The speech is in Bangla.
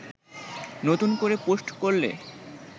নতুন করে পোস্ট করলে